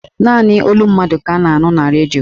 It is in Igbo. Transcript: Naanị olu mmadụ ka a na-anụ na redio